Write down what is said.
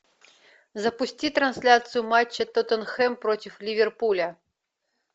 запусти трансляцию матча тоттенхэм против ливерпуля